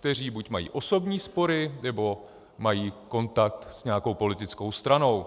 kteří buď mají osobní spory, nebo mají kontakt s nějakou politickou stranou.